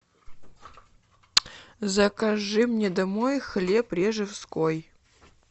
закажи мне домой хлеб режевской